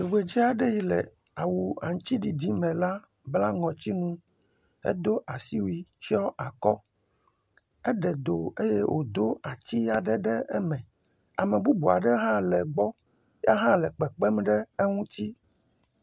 Tugbedza aɖe yi ke awu aŋtsiɖiɖi me la bla ŋɔtsinu edo asiwui tsɔ akɔ eɖe do eye wodo ati aɖe ɖe eme. Ame bubu aɖe hã le egbɔ. Ya hã le kpekpem ɖe eŋuti.